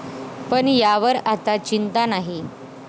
पण यावर आता चिंता नाही.